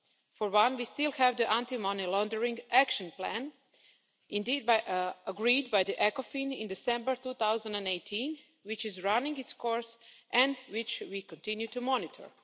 For one, we still have the Anti Money Laundering Action Plan, agreed by Ecofin in December 2018, which is running its course and which we continue to monitor.